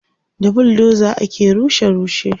da buldoza ake rushe rushe